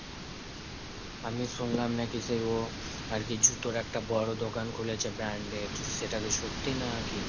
আমি শুনলাম নাকি যে ও আরকি জুতোর একটা বড় দোকান খুলেছে branded তো সেটাকি সত্যি নাকি?